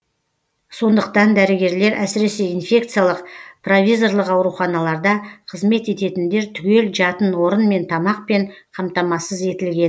сондықтан дәрігерлер әсіресе инфекциялық провизорлық ауруханаларда қызмет ететіндер түгел жатын орынмен тамақпен қамтамасыз етілген